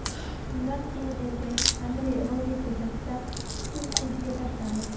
Shundan keyin erkak Anri Roger ko‘chasida ikki o‘tkinchiga tashlandi.